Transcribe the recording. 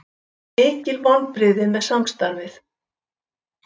Mikil vonbrigði með samstarfið